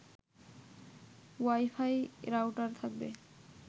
wifi router থাকবে